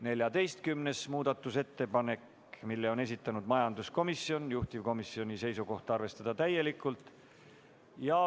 14. muudatusettepanekugi on esitanud majanduskomisjon, juhtivkomisjoni seisukoht on arvestada seda täielikult.